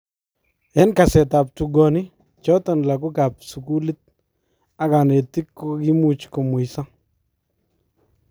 En kaseetab tukoonik choton lakookab sukuuliit ak kaneetik kokimuch komweysa